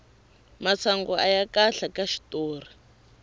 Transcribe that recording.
masangu aya kahle ka xitori